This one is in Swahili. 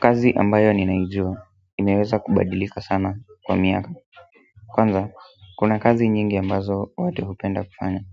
Kazi ambayo ninaijua imeweza kubadilika sana kwa miaka kwanza, kuna kazi nyingi ambazo watu hupenda kufanya